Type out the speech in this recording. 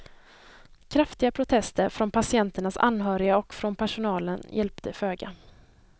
Kraftiga protester från patienternas anhöriga och från personalen hjälpte föga.